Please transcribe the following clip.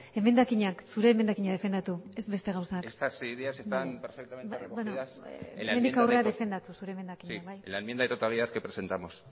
emendakinak zure emendakina defendatu ez beste gauza estas ideas están perfectamente recogidas en la enmienda hemendik aurrera defendatu zure emendakina bai en la enmienda de totalidad que presentamos